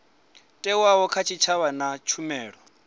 thewaho kha tshitshavha na tshumelo